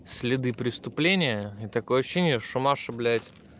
следы преступления и такое ощущение что наши блядь